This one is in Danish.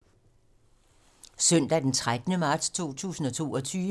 Søndag d. 13. marts 2022